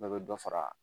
Bɛɛ bɛ dɔ fara